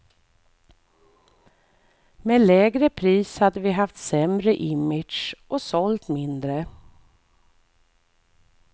Med lägre pris hade vi haft sämre image och sålt mindre.